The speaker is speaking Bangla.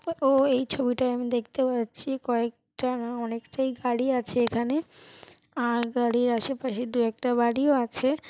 ও এই ছবিটায় আমি দেখতে পাচ্ছি কয়েকটা না অনেকটাই গাড়ি আছে এখানে আর গাড়ির আশেপাশে দু একটা বাড়িও আছে।